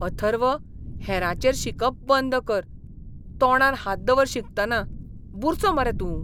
अथर्व, हेरांचेर शिंकप बंद कर. तोंडार हात दवर शिंकतना. बुरसो मरे तूं.